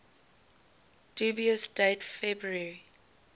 dubious date february